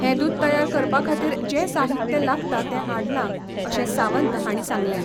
हें दूद तयार करपा खातीर जे साहित्य लागता तें हाडलां अशें सावंत हांणी सांगलें.